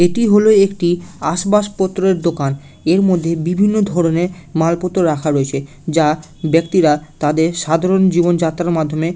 এটি হলো একটি আসবাসপত্রের দোকান এর মধ্যে বিভিন্ন ধরণের মালপত্র রাখা রয়েছে যা ব্যাক্তিরা তাদের সাধারণ জীবনযাত্রার মাধ্যমে।